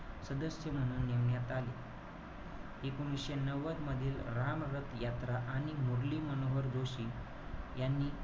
सदस्य म्हणून नेमण्यात आले. एकोणीशे नव्वदमधील रामरथ यात्रा आणि मुरलीमनोहर जोशी यांनी,